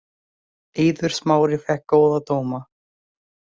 Eiður Smári fékk góða dóma